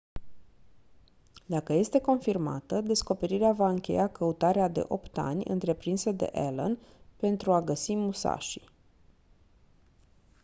dacă este confirmată descoperirea va încheia căutarea de opt ani întreprinsă de allen pentru a găsi musashi